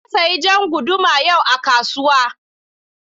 Na sayi jan guduma yau a kasuwa.